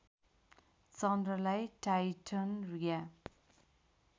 चन्द्रलाई Titan Riya